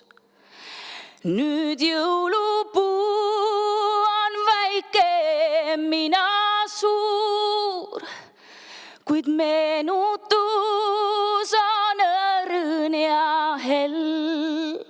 Nüüd jõulupuu on väike, mina suur, kuid meenutus on õrn ja hell.